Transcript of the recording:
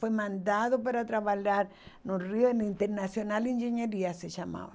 Foi mandado para trabalhar no Rio, no Internacional de Engenharia, se chamava.